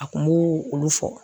A kun b'o olu fɔ.